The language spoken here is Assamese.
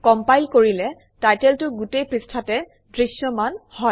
কম্পাইল কৰিলে টাইটেলটো গোটেই পৃষ্ঠাতে দৃশ্যমান হয়